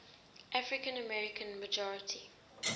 african american majority